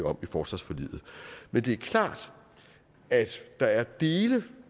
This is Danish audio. om i forsvarsforliget men det er klart at der er dele